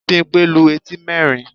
Bímpé lu etí nerin